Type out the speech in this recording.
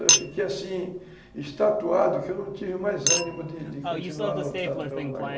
Eu fiquei assim, estatuado, que eu não tive mais ânimo de de continuar lutando pelo negócio.